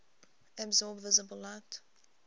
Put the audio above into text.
absorb visible light